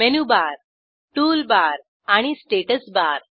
menu bar toolbar आणि status bar